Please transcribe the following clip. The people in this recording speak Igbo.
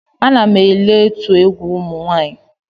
Ana m ele otu egwu ụmụ nwanyị.